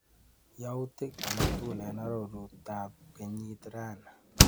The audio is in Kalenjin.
Yautik akatukul eng arorutab kenyit rani.